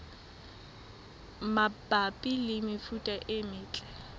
mabapi le mefuta e metle